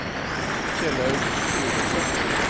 Kjellaug Gulliksen